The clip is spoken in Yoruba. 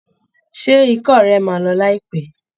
Ṣé ikọ́ rẹ̀ máa lọ láìpẹ́?